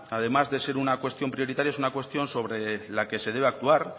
además de ser una cuestión prioritaria es una cuestión sobre la que se debe actuar